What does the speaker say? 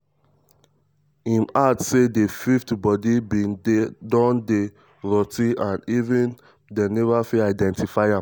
im add say di fifth body bin don dey rot ten um and um dem neva fit identify am.